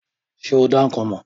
Ṣé o dá ikán mọ̀?